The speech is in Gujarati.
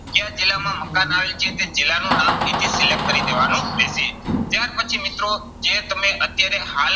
ક્યા જિલ્લામાં મકાન આવેલ છે તે જિલ્લાનું નામ અહીંથી select કરી દેવાનું રહેશે. ત્યાર પછી મિત્રો જે તમે અત્યારે હાલ